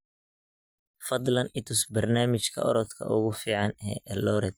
fadlan i tus barnaamijka orodka ugu fiican ee eldoret